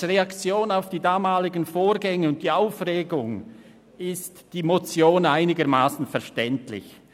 Als Reaktion auf die damaligen Vorgänge und die Aufregung ist die Motion einigermassen verständlich.